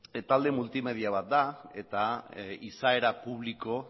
talde multimedia bat da eta izaera publikoa